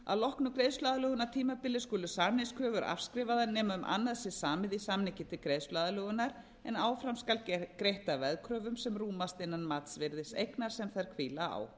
að loknu greiðsluaðlögunartímabili skulu samningskröfur afskrifaðar nema um annað sé samið í samningi til greiðsluaðlögunar en áfram skal greitt af veðkröfum sem rúmast innan virðis eignar sem þær hvíla á